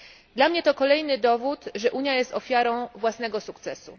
Dla mnie to kolejny dowód, że Unia jest ofiarą własnego sukcesu.